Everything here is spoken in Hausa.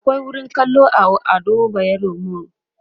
akwai wurin kallo a Ado bayero mall